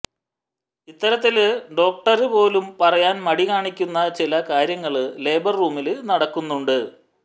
ഇത്തരത്തില് ഡോക്ടര് പോലും പറയാന് മടി കാണിക്കുന്ന ചില കാര്യങ്ങള് ലേബര് റൂമില് നടക്കുന്നുണ്ട്